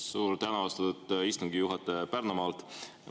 Suur tänu, austatud istungi juhataja Pärnumaalt!